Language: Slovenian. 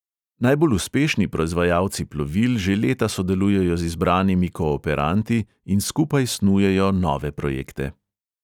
Najbolj uspešni proizvajalci plovil že leta sodelujejo z izbranimi kooperanti in skupaj snujejo nove projekte.